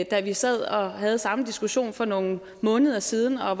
da vi sad og havde samme diskussion for nogle måneder siden og